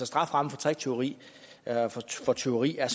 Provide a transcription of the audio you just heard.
strafferammen for tricktyveri eller for tyveri er